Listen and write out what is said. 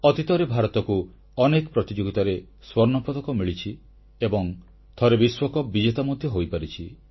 ଅତୀତରେ ଭାରତକୁ ଅନେକ ପ୍ରତିଯୋଗିତାରେ ସ୍ୱର୍ଣ୍ଣପଦକ ମିଳିଛି ଏବଂ ଥରେ ବିଶ୍ୱକପ ବିଜେତା ମଧ୍ୟ ହୋଇପାରିଛି